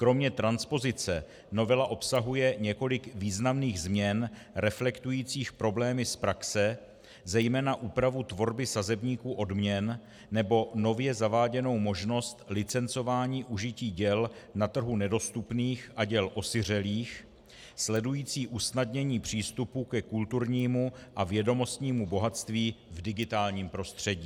Kromě transpozice novela obsahuje několik významných změn reflektujících problémy z praxe, zejména úpravu tvorby sazebníku odměn nebo nově zaváděnou možnost licencování užití děl na trhu nedostupných a děl osiřelých, sledující usnadnění přístupu ke kulturnímu a vědomostnímu bohatství v digitálním prostředí.